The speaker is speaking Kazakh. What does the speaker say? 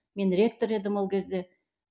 мен ректор едім ол кезде